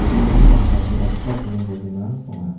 bimani paksachi adita buring-bolgrimrang bang·a.